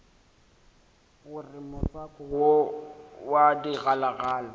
gore motswako wo wa digalagala